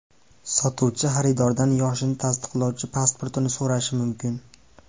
Sotuvchi xaridordan yoshini tasdiqlovchi pasportini so‘rashi mumkin.